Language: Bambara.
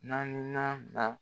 Na ɲuman da